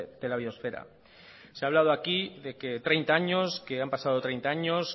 de la biosfera se ha hablado aquí de que treinta años que han pasado treinta años